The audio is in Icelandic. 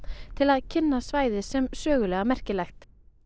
til að kynna svæðið sem sögulega merkilegt